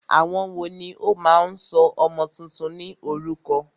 Àwọn wòó ní o máà ń sọ ọmọ túntún ní orúkọ?